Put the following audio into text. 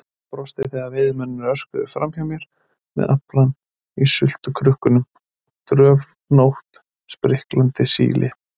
Ég brosti þegar veiðimennirnir örkuðu framhjá mér með aflann í sultukrukkunum, dröfnótt, spriklandi síli.